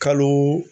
Kalo